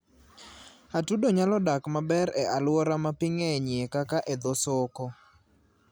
Atudo nyalo dak maber e alwora ma pi ng'enyie kaka e dho soko.